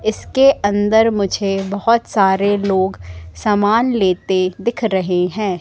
इसके अंदर मुझे बहोत सारे लोग सामान लेते दिख रहे हैं।